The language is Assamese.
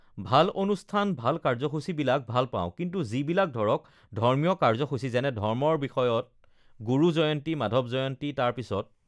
ভাল অনুষ্ঠান ভাল কাৰ্যসূচীবিলাক ভালপাওঁ কিন্তু যিবিলাক ধৰক ধৰ্মীয় কাৰ্যসূচী যেনে ধৰ্মৰ বিষয়ত গুৰু জয়ন্তী মাধৱ জয়ন্তী তাৰপিছত